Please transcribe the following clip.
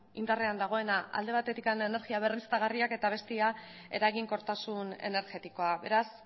indarrean dagoenak alde batetik energia berriztagarriak eta bestea eraginkortasun energetikoa beraz